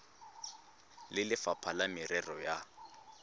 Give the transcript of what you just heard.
le lefapha la merero ya